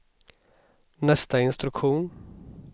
nästa instruktion